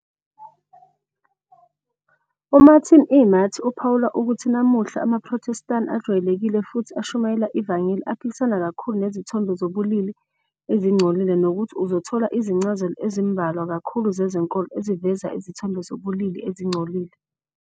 UMartin E. Marty uphawula ukuthi, namuhla, amaProthestani ajwayelekile futhi ashumayela ivangeli aphikisana kakhulu nezithombe zobulili ezingcolile nokuthi uzothola "izincazelo ezimbalwa kakhulu zezenkolo eziveza izithombe zobulili ezingcolile."